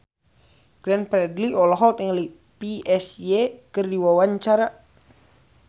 Glenn Fredly olohok ningali Psy keur diwawancara